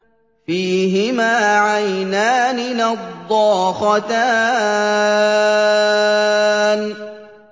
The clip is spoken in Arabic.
فِيهِمَا عَيْنَانِ نَضَّاخَتَانِ